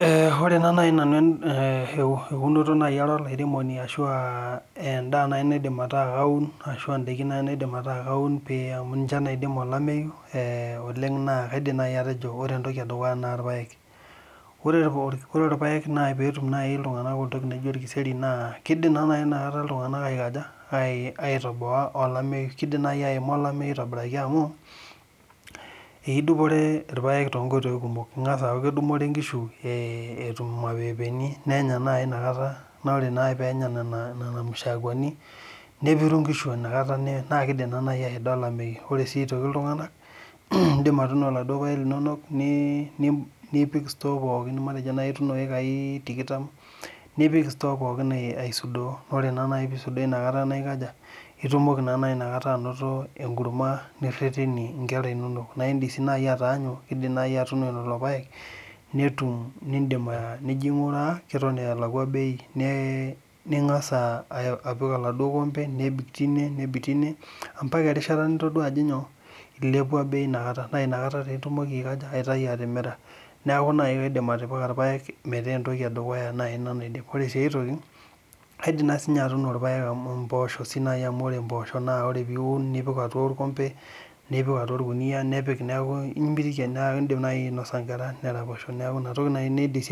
Ore taa nai nanu eunoto taa nai ara olairemoni ashu aa endaa nai naidim ataa kaun ashu in'daiki nai naidim ataa kaun amu niche naidim olameyu eeh oleng naa kaidim nai atejo ore entoki edukuya naa ilpaek Ore ilpaek nai peetum iltunganak entoki naijo olkiseri naa kidim naa nai inakata iltunganak aikunaja aitoboa olemeyu, keidim nai aima olameyu atobiraki amu eidupore ilapaek toonkoitoi kumok engash aaku kedupre ingishu etum imapeepeeni nenya nai inakata naa ore naibpeenya nena nena mashakwani nepiru ingishu inakata naa kiidim naa nai aida olameyu ore sii aitoki iltunganak in'dim atuuno iladuo paek linono nipik ostore pookin matejo nai ituuno iyekai tikitam nipik ostore pookin eh aisudoo ore naa nai piisudoo inakata naikaja itumoki naa nai inakata ainoto enkurma nirherhenie ingera inonok naa in'dim sii nai ataanyu idim nai atuuno lelo paek netum niidim nijo ainguraa keton eeta elakwa bei ningash apik oladuo kombe nebik tine nebik tine mbaka erishata nitodua ajo nyoo ilepua nei inakata naa inakata taa itumoki aitayu atimira niaku nai kaidim atipika ilapek metaa entoki edukuya nai naidip Ore sii aitoki naa aidim sii naai tuino ilapek ashu mboosho siinai amu ore mboosho piiun nipik atua olkombe nipik atua olkunuyia niaku imirie naa iidim nai ainosa ngera neraposho niaku inatoki naai